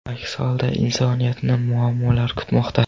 Aks holda insoniyatni muammolar kutmoqda.